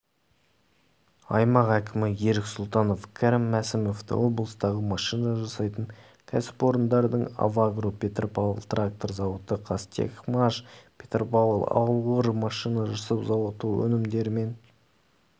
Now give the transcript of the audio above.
аймақ әкімі ерік сұлтанов кәрім мәсімовті облыстағы машина жасайтын кәсіпорындардың авагро петропавл трактор зауыты қазтехмаш петропавл ауыр машина жасау зауыты өнімдерімен